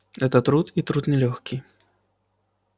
это труд и труд нелёгкий